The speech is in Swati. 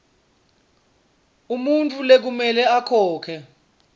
umuntfu lekumele akhokhe